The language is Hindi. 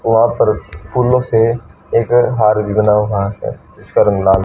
वहां पर फूलों से एक हार भी बना हुआ है जिसका रंग लाल--